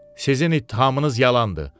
Sizin ittihamınız yalandır.